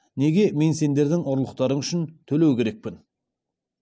неге мен сендердің ұрлықтарың үшін төлеу керекпін